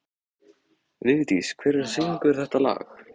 Vigdís, hver syngur þetta lag?